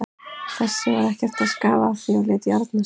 Þessi var ekkert að skafa af því og lét járna sig.